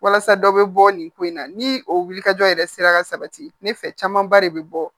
Walasa dɔ bɛ bɔ nin ko in na ni o wulikajɔ yɛrɛ sera ka sabati ne fɛ camanba de be bɔ